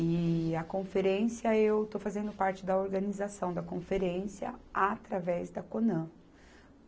E a conferência, eu estou fazendo parte da organização da conferência através da Conan.